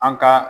An ka